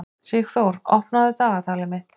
Sigurþór, opnaðu dagatalið mitt.